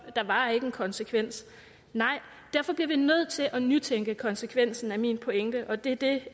der var ingen konsekvens nej og derfor bliver vi nødt til at nytænke konsekvensen af min pointe og det er det